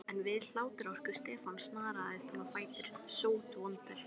En við hláturroku Stefáns snaraðist hann á fætur, sótvondur.